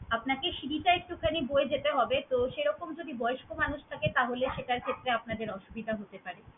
আপনাকে সিঁড়িটা একটুখানি বয়ে যেতে হবে তো সেরকম যদি বয়স্ক মানুষ থাকে তাহলে সেটার ক্ষেত্রে আপনাদের অসুবিধা হতে পারে।